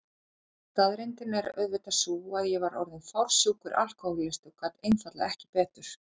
Staðreyndin er auðvitað sú að ég var orðin fársjúkur alkohólisti og gat einfaldlega ekki betur.